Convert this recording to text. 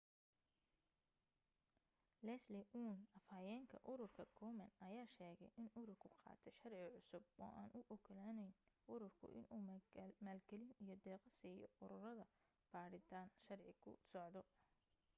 leslie aun afhayeenka ururka komen ayaa sheegay in ururku qaatay sharci cusub oo aan u ogolaanayn ururku inuu maalgelin iyo deeqo siiyo ururada baadhitaan sharci ku socdo